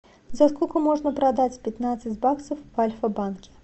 за сколько можно продать пятнадцать баксов в альфа банке